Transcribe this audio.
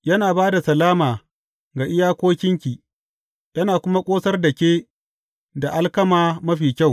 Yana ba da salama ga iyakokinki yana kuma ƙosar da ke da alkama mafi kyau.